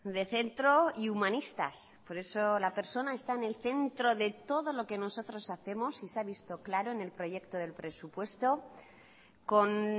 de centro y humanistas por eso la persona está en el centro de todo lo que nosotros hacemos y se ha visto claro en el proyecto del presupuesto con